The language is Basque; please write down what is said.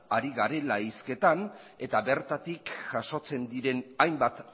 ari garela hizketan eta bertatik jasotzen diren hainbat